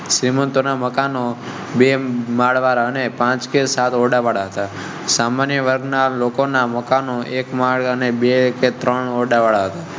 શ્રીમંત મકાન બે માળ અને પાંચ કે સાત સામાન્ય વર્ગના લોકો ના મકાનો એક માર્ગ અને બે કે ત્રણ